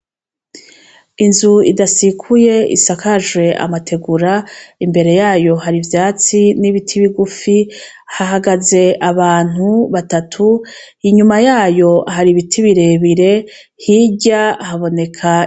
Inzu idasikuye isakajwe amategura imbere yayo har'ivyatsi n'ibiti bigufi hahagaze abantu batatu inyuma yayo har'ibiti birebire hirya haboneka....